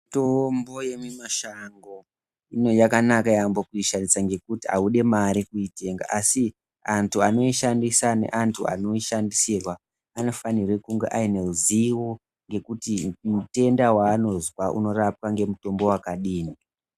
Mitombo yemimashango yakanaka yaambo kuishandisa ngekuti haudi mari kuitenga asi antu anoishandisa neantu anoishandisirwa anofanirwe kunge ane ruzivo kuti utenda hwaanozwa hunorapwa nemutombo wakadii.